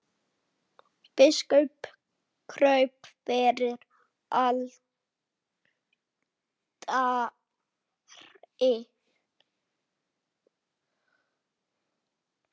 Biskup kraup fyrir altari.